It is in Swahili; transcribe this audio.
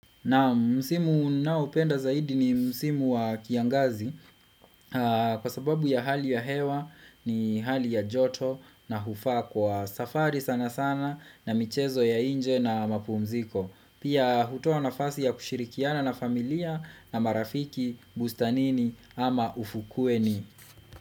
Na msimu ninao penda zaidi ni msimu wa kiangazi, kwa sababu ya hali ya hewa ni hali ya joto na hufaa kwa safari sana sana na michezo ya inje na mapumziko. Pia hutoa nafasi ya kushirikiana na familia na marafiki, bustanini ama ufukueni.